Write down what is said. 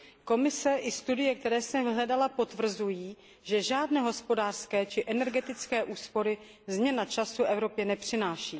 Komise i studie, které jsem hledala, potvrzují, že žádné hospodářské či energetické úspory změna času Evropě nepřináší.